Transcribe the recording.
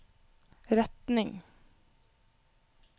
retning